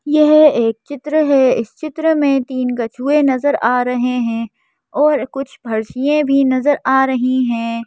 यह एक चित्र है इस चित्र में तीन कछुए नजर आ रहे हैं और कुछ फर्शियां भी नजर आ रही हैं।